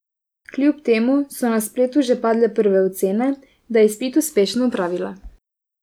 Kljub temu so na spletu že padle prve ocene, da je izpit uspešno opravila.